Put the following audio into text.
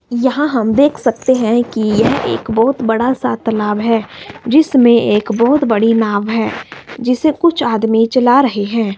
यहां हम देख सकते है कि यह एक बहोत बड़ा सा तालाब है जिसमें एक बहोत बड़ी नाव है जिसे कुछ आदमी चला रहे है।